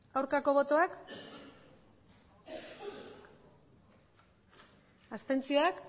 hirurogeita